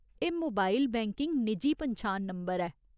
एह् mobile banking निजी पन्छान नंबर ऐ।